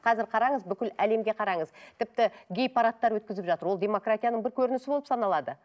қазір қараңыз бүкіл әлемге қараңыз тіпті гей парадтар өткізіп жатыр ол демократияның бір көрінісі болып саналады